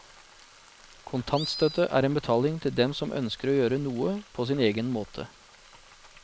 Kontantstøtte er en betaling til dem som ønsker å gjøre noe på sin egen måte.